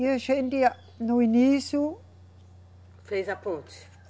E a gente a, no início. Fez a ponte.